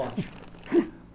Ótimo.